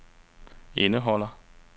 indeholder